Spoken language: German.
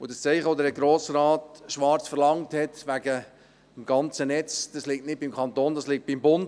Das Zeichen, welches Grossrat Schwarz wegen des ganzen Netzes verlangte, liegt nicht beim Kanton, es liegt beim Bund.